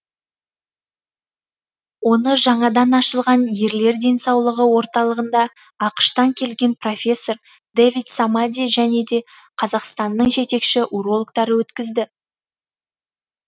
оны жаңадан ашылған ерлер денсаулығы орталығында ақш тан келген профессор дэвид самади және де қазақстанның жетекші урологтары өткізді